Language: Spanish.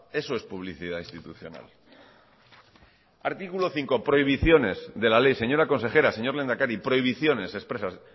eso es publicidad institucional artículo cinco prohibiciones de la ley señora consejera señor lehendakari prohibiciones expresas